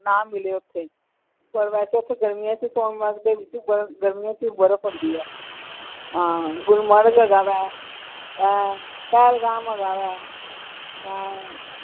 ਨਾ ਮਿਲੇ ਓਥੇ ਪਰ ਵੈਸੇ ਗਰਮੀਆਂ ਚ ਸੋਨਮਰਗ ਦੇ ਵਿਚ ਬਰਫ ਗਰਮੀਆਂ ਚ ਬਰਫ ਹੁੰਦੀ ਹੈ ਹਾਂ ਗੁਲਮਰਗ ਹੈਗਾ ਵਾ ਹੈਂ ਪਹਿਲਗਾਮ ਹੈਗਾ ਵਾ ਹੈਂ।